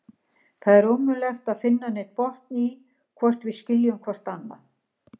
Það er ómögulegt að finna neinn botn í, hvort við skiljum hvort annað.